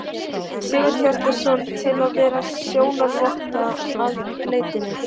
Sigurhjartarson, til að vera sjónarvotta að leitinni.